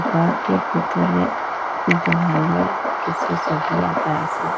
ঘরটির ভিতরে দেওয়ালে কিছু সবি আঁকা আছে।